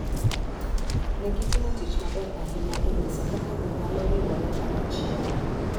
Ne gitimo tich maber ahinya e nyiso kaka ji nyalo riwore kanyachiel.